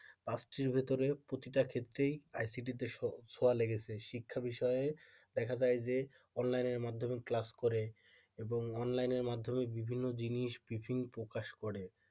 পাত্রীর ভেতরে প্রতিটা ক্ষেত্রেই ICT তে ছোঁয়া লেগেছে শিক্ষা বিষয়ে দেখা যায় যে অনলাইনের মাধ্যমে class করে এবং অনলাইনের মাধ্যমে বিভিন্ন জিনিস বিভিন্ন প্রকাশ করে।